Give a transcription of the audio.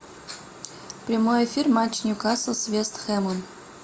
прямой эфир матч ньюкасл с вест хэмом